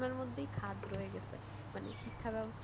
পড়াশোনার মধ্যেই খাদ রয়ে গেছে মানে শিক্ষাব্যবস্থা,